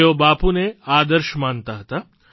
તેઓ બાપુને આદર્શ માનતા હતા